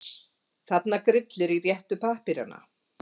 Þarna grillir í réttu pappírana.